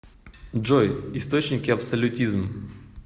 джой источники абсолютизм